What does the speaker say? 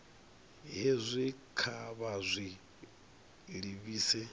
hezwi kha vha zwi livhise